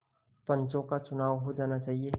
पंचों का चुनाव हो जाना चाहिए